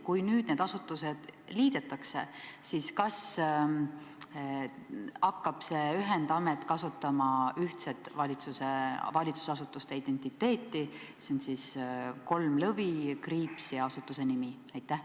Kui nüüd need asutused liidetakse, kas siis hakkab see ühendamet kasutama ühtset valitsusasutuste identiteeti – see on siis kolm lõvi, kriips ja asutuse nimi?